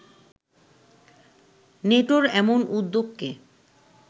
নেটোর এমন উদ্যোগকে